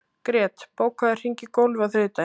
Grét, bókaðu hring í golf á þriðjudaginn.